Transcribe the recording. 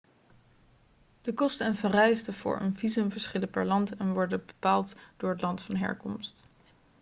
de kosten en vereisten voor een visum verschillen per land en worden bepaald door het land van herkomst